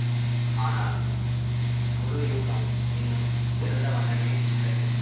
ஆனால் முழு யூகம் இன்னும் திறந்த வண்ணமே உள்ளது